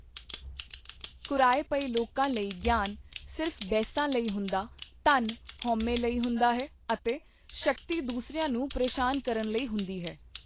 ਕੁਰਾਹੇ ਪਏ ਲੋਕਾਂ ਲਈ ਗਿਆਨ ਸਿਰਫ ਬਹਿਸਾਂ ਲਈ ਹੁੰਦਾ ਧਨ ਹਉਮੈ ਲਈ ਹੁੰਦਾ ਹੈ ਅਤੇ ਸ਼ਕਤੀ ਦੂਸਰਿਆਂ ਨੂੰ ਪ੍ਰੇਸ਼ਾਨ ਕਰਨ ਲਈ ਹੁੰਦੀ ਹੈ।